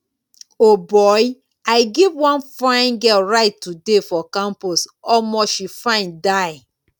o boy i give wan fine girl ride today for campus omo she fine die